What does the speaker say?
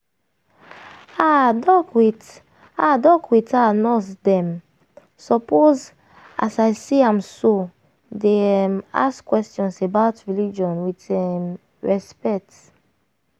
ah doc with ah doc with ah nurse dem suppose as i see am so dey um ask questions about religion with um respect.